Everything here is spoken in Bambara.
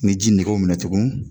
Ni ji nege y'u minɛ tugun